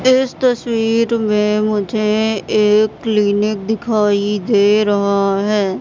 इस तस्वीर में मुझे एक क्लीनिक दिखाई दे रहा है।